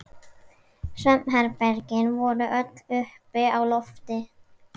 Svefnherbergin voru öll uppi á lofti.